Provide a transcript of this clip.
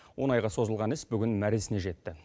он айға созылған іс бүгін мәресіне жетті